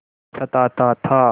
सताता था